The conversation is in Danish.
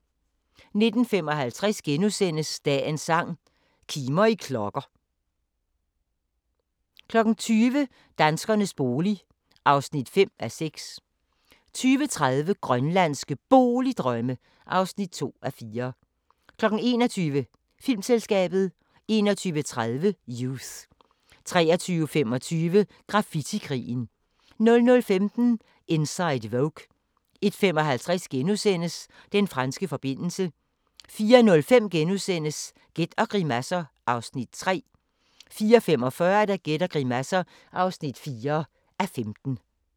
19:55: Dagens sang: Kimer i klokker * 20:00: Danskernes bolig (5:6) 20:30: Grønlandske Boligdrømme (2:4) 21:00: Filmselskabet 21:30: Youth 23:25: Graffiti-krigen 00:15: Inside Vogue 01:55: Den franske forbindelse * 04:05: Gæt og grimasser (3:15)* 04:45: Gæt og grimasser (4:15)